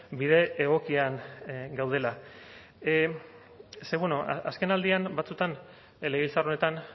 bide egokian gaudela ze bueno azkenaldian batzuetan legebiltzar honetan